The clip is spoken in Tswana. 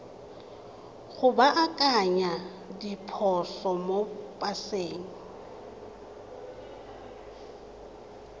go baakanya diphoso mo paseng